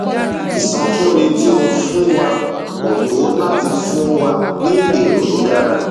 ìsọfúnni tí o fún wa kò tó láti fún wa ní èrò tó dára